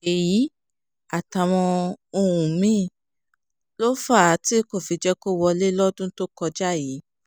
èyí àtàwọn ohun mí-ín ló fà á tí kò jẹ́ kí ó wọlé lọ́dún tó kọjá yìí